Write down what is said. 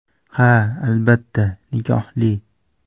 Ha, albatta, nikohli.